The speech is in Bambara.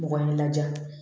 Mɔgɔ ye laja